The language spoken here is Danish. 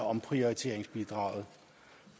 omprioriteringsbidraget